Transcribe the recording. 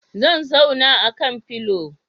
Zan zauna akan filio